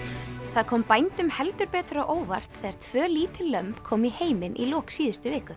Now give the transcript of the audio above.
það kom bændum heldur betur á óvart þegar tvö lítil lömb komu í heiminn í lok síðustu viku